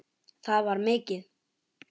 Það var mikið.